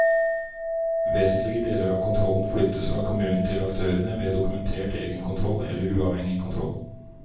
Vesentlige deler av kontrollen flyttes fra kommunen til aktørene ved dokumentert egenkontroll eller uavhengig kontroll.